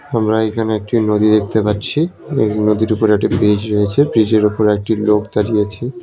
আমরা এইখানে একটি নদী দেখতে পাচ্ছি এই নদীর উপরে একটি ব্রিজ রয়েছে ব্রিজ এর উপরে একটি লোক দাঁড়িয়ে আছে।